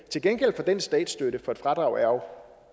til gengæld for den statsstøtte for et fradrag